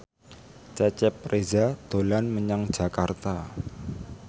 Cecep Reza dolan menyang Jakarta